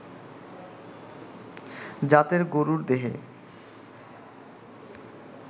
জাতের গরুর দেহে